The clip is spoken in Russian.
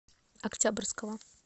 октябрьского